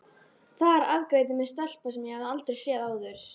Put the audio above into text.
Þar afgreiddi mig stelpa sem ég hafði aldrei séð áður.